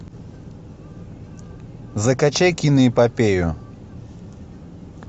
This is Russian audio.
закачай киноэпопею